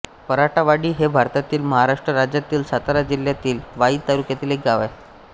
पराटावाडी हे भारतातील महाराष्ट्र राज्यातील सातारा जिल्ह्यातील वाई तालुक्यातील एक गाव आहे